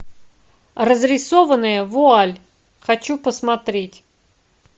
разрисованная вуаль хочу посмотреть